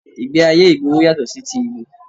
Ìgbẹ́ ayé ìgboro yàtọ̀ sí ti ìlú